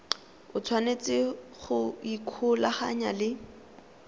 o tshwanetse go ikgolaganya le